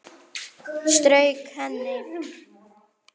Strauk henni.